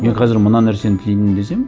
мен қазір мына нәрсені тілеймін десем